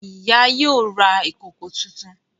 Ìyá yóò rà ìkọkọ títún.